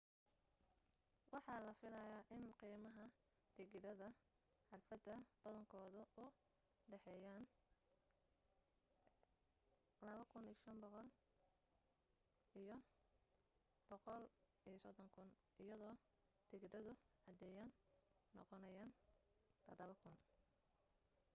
waxa la filaya in qiimaha tigidhada xafladda badankoodu u dhexeeyaan ¥2,500 iyo ¥130,000 iyado tigidhadu caadiyana noqonayaan ¥7,000